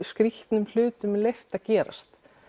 skrýtnum hlutum leyft að gerast